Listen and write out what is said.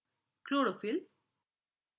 chlorophyll